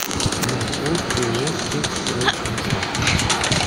маршрут ооо техстройконтракт